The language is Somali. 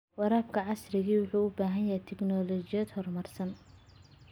Waraabka casriga ahi wuxuu u baahan yahay tignoolajiyad horumarsan.